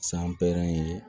ye